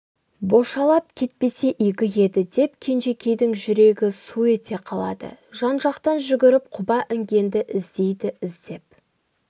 бошалап кетпесе игі еді деп кенжекейдің жүрегі су ете қалады жан-жақтан жүгіріп құба інгенді іздейді іздеп